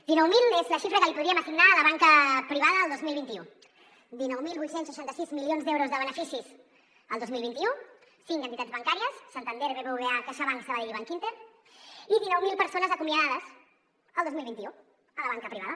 dinou mil és la xifra que li podríem assignar a la banca privada el dos mil vint u dinou mil vuit cents i seixanta sis milions d’euros de beneficis el dos mil vint u cinc entitats bancàries santander bbva caixabank sabadell i bankinter i dinou mil persones acomiadades el dos mil vint u a la banca privada